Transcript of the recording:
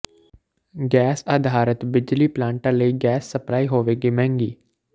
gas ਆਧਾਰਤ ਬਿਜਲੀ ਪਲਾਂਟਾਂ ਲਈ ਗੈਸ ਸਪਲਾਈ ਹੋਵੇਗੀ ਮਹਿੰਗੀ